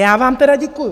Já vám tedy děkuju!